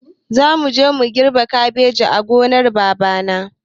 Zamuje mu girbe kabeji a gonar babana